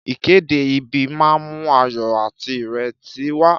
Ìkéde ìbí máa ń mú ayọ̀ àti ìrètí wá.